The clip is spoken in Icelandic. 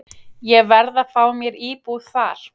Ég verð að fá mér íbúð þar.